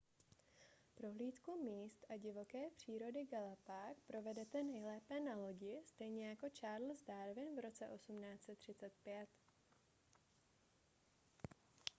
prohlídku míst a divoké přírody galapág provedete nejlépe na lodi stejně jako charles darwin v roce 1835